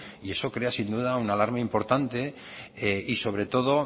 y eso crea sin duda una alarma importante y sobre todo